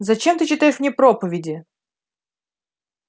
зачем ты читаешь мне проповеди